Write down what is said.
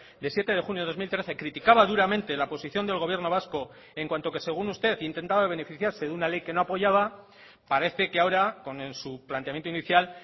de siete de junio de dos mil trece criticaba duramente la posición del gobierno vasco en cuanto que según usted intentaba beneficiarse de una ley que no apoyaba parece que ahora con su planteamiento inicial